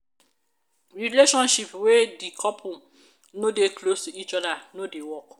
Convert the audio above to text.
relationship wey de couple no dey close to each oda no dey work.